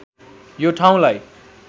यो ठाउँलाई